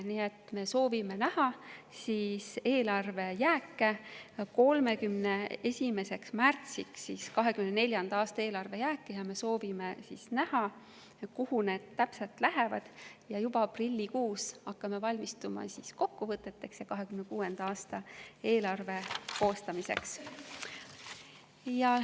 Nii et me soovime näha 31. märtsiks, kuhu 2024. aasta eelarvejäägid täpselt lähevad, ning juba aprillikuus hakkame valmistuma kokkuvõteteks ja 2026. aasta eelarve koostamiseks.